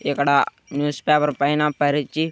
ఇక్కడ newspaper పైన పరిచి--